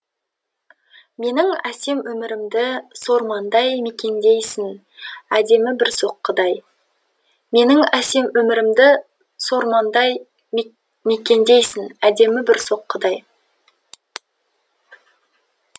менің әсем өмірімді сормаңдай мекендейсің әдемі бір соққыдай менің әсем өмірімді сормаңдай мекендейсің әдемі бір соққыдай